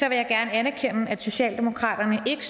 jeg gerne anerkende at socialdemokratiet